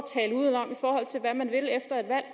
at man